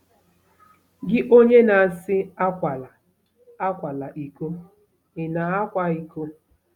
Gị onye na-asị ‘Akwala ‘Akwala iko ,’ ị̀ na-akwa iko?